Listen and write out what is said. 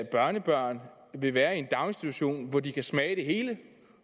børnebørn vil være i en daginstitution hvor de kan smage det hele